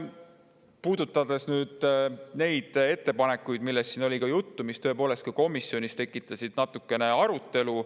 Puudutan nüüd natuke neid ettepanekuid, millest siin juba juttu oli ja mis tõepoolest komisjonis veidi arutelu tekitasid.